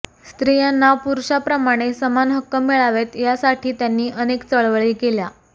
स्त्रियांना पुरुषांप्रमाणे समान हक्क मिळावेत यासाठी त्यांनी अनेक चळवळी केल्या